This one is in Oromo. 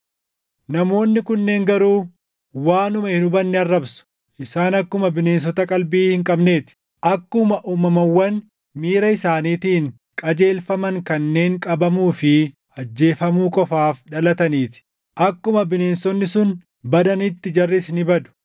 Namoonni kunneen garuu waanuma hin hubanne arrabsu. Isaan akkuma bineensota qalbii hin qabnee ti; akkuma uumamawwan miira isaaniitiin qajeelfaman kanneen qabamuu fi ajjeefamuu qofaaf dhalatanii ti; akkuma bineensonni sun badanitti jarris ni badu.